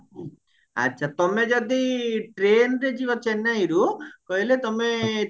ଆଚ୍ଛା ତମେ ଯଦି trainରେ ଯିବ ଚେନ୍ନାଇରୁ କହିଲେ ତମେ